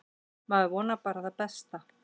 Maður vonar bara það besta.